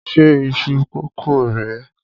Ṣé iṣu kókò rè é?